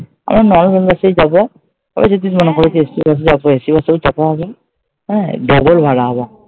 আমরা normal বাসেই যাবো। ঐ যদি মনে করো যে AC বাসে যাবো AC বাসে ও চাপা হইনি হ্যাঁ, double ভাড়া আবার।